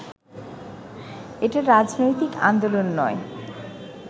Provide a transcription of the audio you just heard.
এটা রাজনৈতিক আন্দোলন নয়